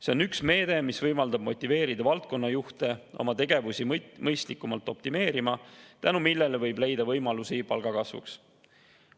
See on üks meede, mis võimaldab motiveerida valdkonnajuhte oma tegevusi mõistlikumalt optimeerima, tänu millele võib leida võimalusi palgakasvuks.